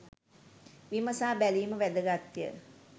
විමසා බැලීම වැදගත්ය